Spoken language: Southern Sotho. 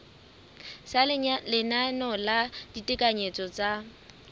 sa leano la ditekanyetso tsa